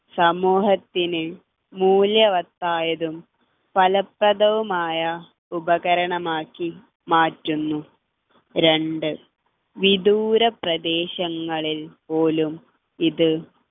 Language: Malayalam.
സമൂഹത്തിന് മൂല്യവത്തായതും ഫലപ്രദവുമായ ഉപകരണം ആക്കി മാറ്റുന്നു രണ്ട് വിദൂര പ്രദേശങ്ങളിൽ പോലും ഇത്